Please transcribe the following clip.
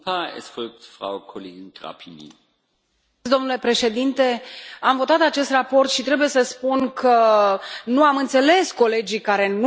Domnule președinte, am votat acest raport și trebuie să spun că nu i am înțeles pe colegii care nu au votat și au fost mulți care nu au votat.